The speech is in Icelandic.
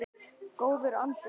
Góður andi þar.